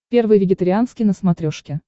первый вегетарианский на смотрешке